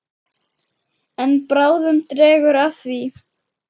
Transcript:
En bráðum dregur að því.